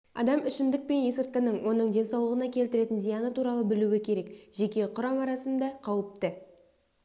адам ішімдік пен есірткінің оның денсаулығына келтіретін зияны туралы білуі керек жеке құрам арасында қауіпті